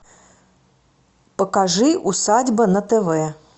покажи усадьба на тв